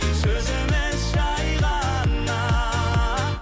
сөз емес жай ғана